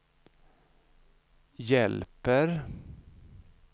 hjälper